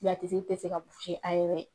a tugi tɛ se ka a yɛrɛ ye.